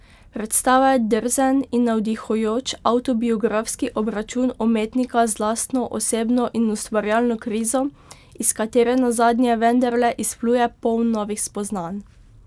Predstava je drzen in navdihujoč avtobiografski obračun umetnika z lastno osebno in ustvarjalno krizo, iz katere nazadnje vendarle izpluje poln novih spoznanj.